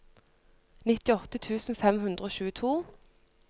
nittiåtte tusen fem hundre og tjueto